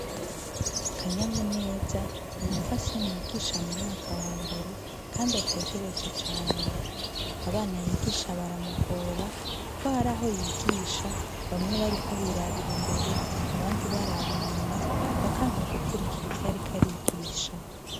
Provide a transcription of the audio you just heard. Kanyamuneza n'umupfasoni yigisha m'umwaka wa mbere kandi atekereje cane. Abana yigisha baramugora kuko hari aho yigisha bamwe bariko birabira imbere abandi baraba inyuma bakanka gukurikira ivyo ariko arigisha.